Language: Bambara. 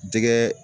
Jɛgɛ